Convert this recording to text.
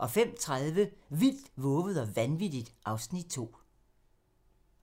05:30: Vildt, vovet og vanvittigt (Afs. 2)